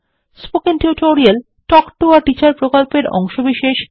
spoken tutorial talk to a teacher প্রকল্পের অংশবিশেষ